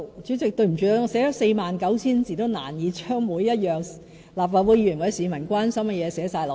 主席，對不起，即使我寫了 49,000 字，也難以將立法會議員或市民關心的每一事項包括在內。